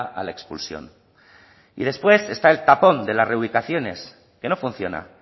a la expulsión y después está el tapón de las reubicaciones que no funciona